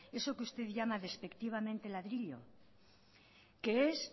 eso que usted llama despectivamente ladrillo que es